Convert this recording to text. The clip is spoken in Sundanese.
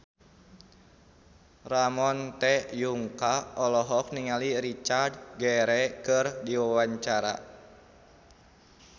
Ramon T. Yungka olohok ningali Richard Gere keur diwawancara